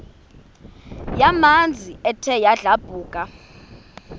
yamanzi ethe yadlabhuka